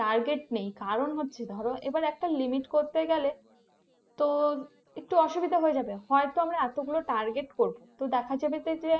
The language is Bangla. target নেই কারণ হচ্ছে ধরো এবার একটা limit করতে গেলে তো একটু অসুবিধা হয়ে যাবে হয়তো আমরা এতগুলো target করবো তো দেখা যাবে যে